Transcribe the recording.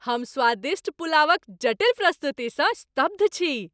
हम स्वादिष्ट पुलावक जटिल प्रस्तुतिसँ स्तब्ध छी ।